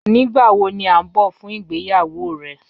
Nigbawo ni a n bọ fun igbeyawo rẹ?